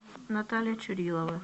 наталья чурилова